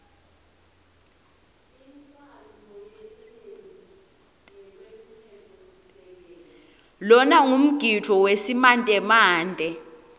lona ngumgidvo wesimantemante